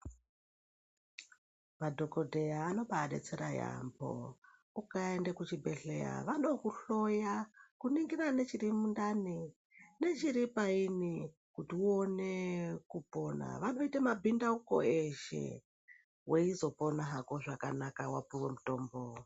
Madhokodheya anombadetsera yaambo. Ukaenda kuchibhehleya vanokuhloya kungira nechiri mundani nechiri paini kuti uwone kupona. Vanoite mabhindauko eshe weizopona hako zvakanaka wapiwa mitombo.